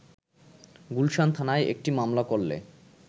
গুলশান থানায় একটি মামলা করলে